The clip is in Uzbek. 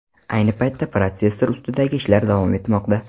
Ayni paytda protsessor ustidagi ishlar davom etmoqda.